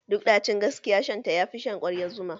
Duk ɗacin gaskiya shan ta yafi shan kwaryar zuma?